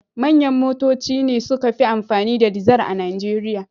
Manyan motoci ne suka fi amfani da dizar a Nijeriya.